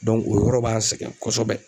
o yɔrɔ b'an sɛgɛn kɔsɔbɛ.